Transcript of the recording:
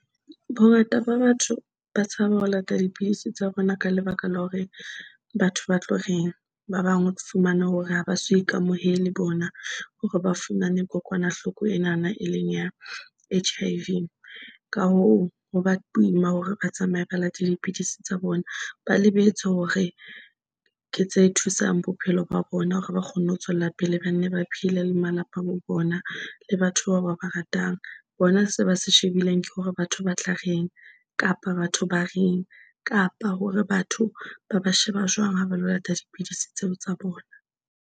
Bongata ba batho ba tshaba ho lata dipidisi tsa bona, ka lebaka la hore batho ba tlo reng. Ba bang o fumane hore ha ba so ikamohele le bona hore ba fumane kokwanahloko enana e leng ya H _I_ V. Ka hoo, ho ba boima hore ba tsamaye ba late dipidisi tsa bona ba lebetse hore ke tse thusang bophelo ba bona hore ba kgone ho tswella pele ba nne ba phele le malapa a bo bona. Le batho bao ba ba ratang bona, se ba se shebileng, ke hore batho ba tla reng, kapa batho ba reng. Kapa hore batho ba ba sheba jwang ha ba lo lata dipidisi tseo tsa bona.